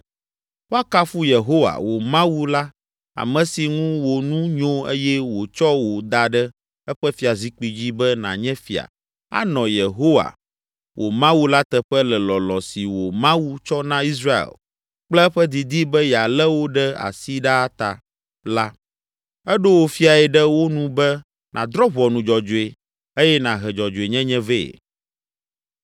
Woakafu Yehowa, wò Mawu la ame si ŋu wò nu nyo eye wòtsɔ wò da ɖe eƒe fiazikpui dzi be nànye fia, anɔ Yehowa, wò Mawu la teƒe le lɔlɔ̃ si wò Mawu tsɔ na Israel kple eƒe didi be yealé wo ɖe asi ɖaa ta la, eɖo wò Fiae ɖe wo nu be nàdrɔ̃ ʋɔnu dzɔdzɔe eye nàhe dzɔdzɔenyenye vɛ.”